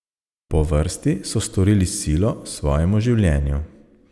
Po vrsti so storili silo svojemu življenju.